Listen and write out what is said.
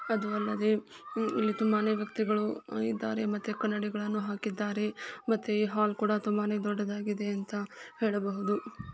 ಅದು ಅಲ್ಲದೆ ಇಲ್ಲಿ ತುಂಬಾನೆ ವ್ಯಕ್ತಿಗಳು ಇದ್ದರೆ ಮತ್ತೆ ಕನ್ನಡಿಗಳನ್ನು ಹಾಕಿದ್ದಾರೆ ಮತ್ತೆ ಇ ಹಾಲ್ ಕೂಡ ತುಂಬಾನೆ ದೊಡ್ಡದಾಗಿದೆ ಅಂತ ಹೇಳಬಹುದು .